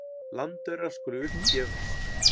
Landaurar skulu upp gefast.